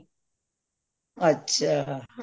ਅੱਛਾ